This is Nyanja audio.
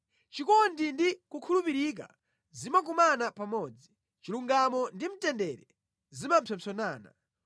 Chikondi ndi kukhulupirika zimakumana pamodzi; chilungamo ndi mtendere zimapsompsonana.